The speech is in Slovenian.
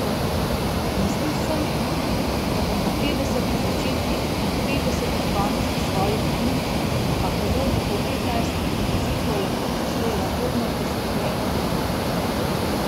Mislil sem, da bom po petdesetih začetkih in petdesetih koncih svojih knjig pa prevodih v petnajst jezikov lahko poslej lagodno preskrbljeno dremal.